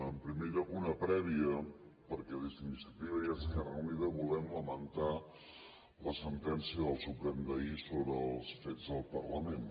en primer lloc una prèvia perquè des d’iniciativa i esquerra unida volem lamentar la sentència del suprem d’ahir sobre els fets del parlament